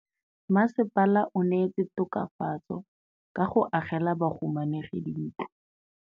Mmasepala o neetse tokafatsô ka go agela bahumanegi dintlo.